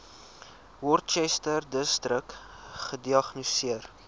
worcesterdistrik gediagnoseer